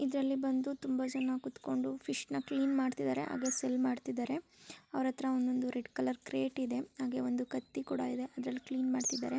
ಇದರಲ್ಲಿ ಬಂದು ತುಂಬಾ ಜನ ಕುತ್ಕೊಂಡು ಫಿಶ್ ನ ಕ್ಲೀನ್ ಮಾಡ್ತಾ ಇದ್ದಾರೆ ಹಾಗೆ ಸೇಲ್ ಮಾಡ್ತಾ ಇದ್ದಾರೆ. ಅವ್ರ ಹತ್ರ ಒಂದು ರೆಡ್ ಕಲರ್ ಕ್ರೇಟ್ ಇದೆ ಕತ್ತಿ ಕೂಡ ಇದೆ ಅದರಲ್ಲಿ ಕ್ಲೀನ್ ಮಾಡ್ತಾ ಇದ್ದಾರೆ.